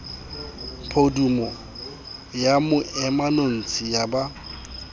podumo ya moemanotshi ya ba